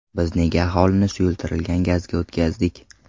Biz nega aholini suyultirilgan gazga o‘tkazdik?